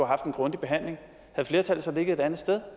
haft en grundig behandling havde flertallet så ligget et andet sted